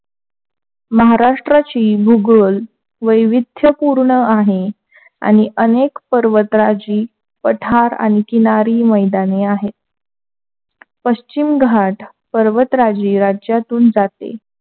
महाराष्ट्राची भूगोल वैविध्यपूर्ण आहे. आणि अनेक पर्वताची पठारे आणि किनारी मैदान आहे, पश्चिम घाट पर्वतराजी राज्यातून जाते.